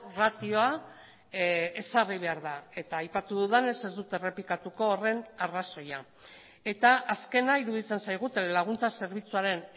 ratioa ezarri behar da eta aipatu dudanez ez dut errepikatuko horren arrazoia eta azkena iruditzen zaigu telelaguntza zerbitzuaren